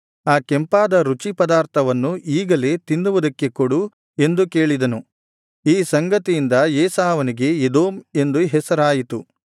ಆ ಕೆಂಪಾದ ರುಚಿ ಪದಾರ್ಥವನ್ನು ಈಗಲೇ ತಿನ್ನುವುದಕ್ಕೆ ಕೊಡು ಎಂದು ಕೇಳಿದನು ಈ ಸಂಗತಿಯಿಂದ ಏಸಾವನಿಗೆ ಎದೋಮ್ ಎಂದು ಹೆಸರಾಯಿತು